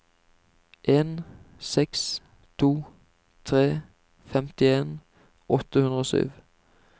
en seks to tre femtien åtte hundre og sju